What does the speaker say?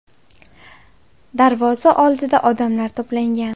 Darvoza oldida odamlar to‘plangan.